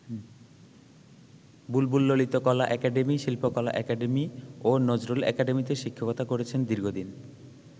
বুলবুল Lalitkala academy, Shilpakala academy ও নজরুল একাডেমীতে শিক্ষকতা করেছেন দীর্ঘদিন।